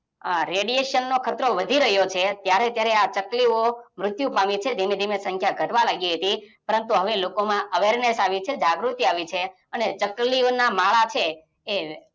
આ radiation નો ખતરો વધી રહ્યો છે. ત્યારે ત્યારે આ ચકલી ઓ મૃત્ય પામી છે ધીમે ધીમે સંખ્યા ઘટવા લાગી હતી. પરંતુ હવે લોકોમાં Awareness આવી છે જાગૃતિ આવી છે અને ચકલીઓના માળા છે